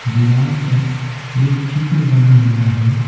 दीवार पर एक चित्र बना हुआ है।